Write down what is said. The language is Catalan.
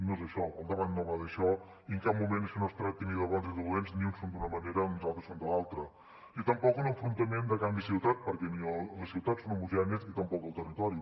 no és això el debat no va d’això i en cap moment això no es tracta ni de bons i dolents ni uns són d’una manera i uns altres són de l’altra ni tampoc un enfrontament de camp i ciutat perquè ni les ciutats són homogènies ni tampoc el territori